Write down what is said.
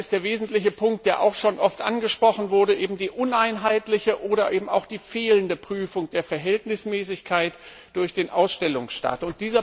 Der wesentliche Punkt, der auch schon oft angesprochen wurde, ist die uneinheitliche oder auch die fehlende Prüfung der Verhältnismäßigkeit durch den Ausstellungsstaat.